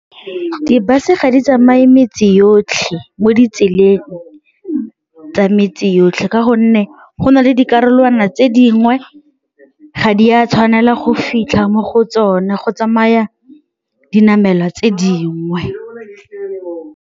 Di-bus-e ga di tsamaye metsi yotlhe mo ditseleng tsa metse yotlhe ka gonne go na le dikarolwana tse dingwe ga di a tshwanela go fitlha mo go tsone, go tsamaya dinamelwa tse dingwe.